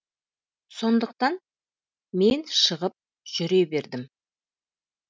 сондықтан мен шығып жүре бердім